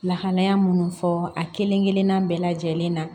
Lahalaya minnu fɔ a kelen-kelenna bɛɛ lajɛlen na